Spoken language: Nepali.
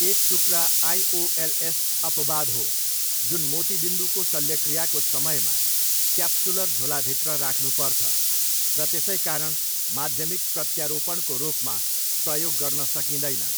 एक टुक्रा आइओएलएस अपवाद हो, जुन मोतीबिन्दुको शल्यक्रियाको समयमा क्याप्सुलर झोलाभित्र राख्नुपर्छ र त्यसैकारण माध्यमिक प्रत्यारोपणको रूपमा प्रयोग गर्न सकिँदैन।